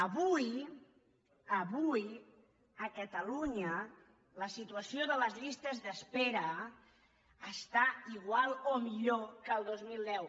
avui avui a catalunya la situació de les llistes d’espera està igual o millor que el dos mil deu